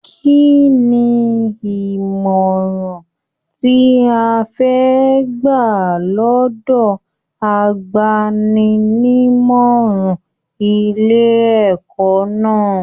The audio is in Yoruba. Kínní ìmọràn tí o fẹ gbà lọdọ àgbàni-ní-ìmọràn ilé ẹ̀kọ́ náà?